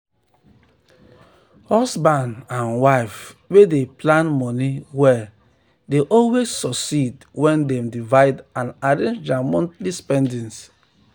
husband um and wife wey dey plan money well dey um always succeed when dem divide and arrange their monthly spending.